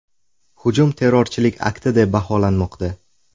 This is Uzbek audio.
Hujum terrorchilik akti deb baholanmoqda.